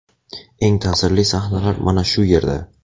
Eng ta’sirli sahnalar mana shu yerda.